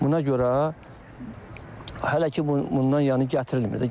Buna görə hələ ki bundan yəni gətirilmir də.